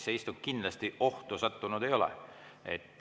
See istung kindlasti ohtu sattunud ei ole.